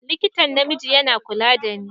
Likitan namiji yana kula da ni.